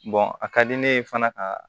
a ka di ne ye fana ka